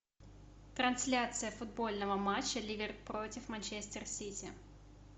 трансляция футбольного матча ливер против манчестер сити